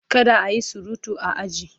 Kada a yi surutu a aji!